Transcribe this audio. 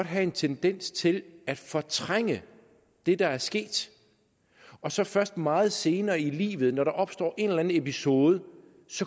have en tendens til at fortrænge det der er sket og så først meget senere i livet når der opstår en eller anden episode